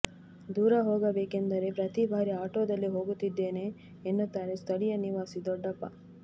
ದೂರ ಹೋಗಬೇಕೆಂದರೆ ಪ್ರತಿ ಬಾರಿ ಆಟೊದಲ್ಲಿ ಹೋಗುತ್ತಿದ್ದೇನೆ ಎನ್ನುತ್ತಾರೆ ಸ್ಥಳೀಯ ನಿವಾಸಿ ದೊಡ್ಡಪ್ಪ